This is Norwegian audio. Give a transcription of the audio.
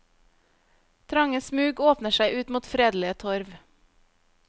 Trange smug åpner seg ut mot fredelige torv.